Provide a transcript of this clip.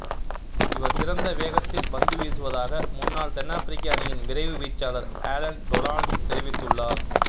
இவர் சிறந்த வேகத்தில் பந்துவீசுவதாக முன்னாள் தென்னாப்பிரிக்க அணியின் விரைவு வீச்சாளர் அலன் டொனால்ட் தெரிவித்துள்ளார்